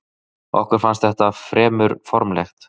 Okkur fannst þetta fremur formlegt.